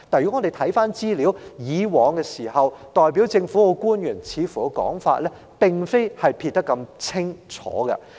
然而，回看資料，以往代表政府的官員的說法並無如此清楚地撇除關係。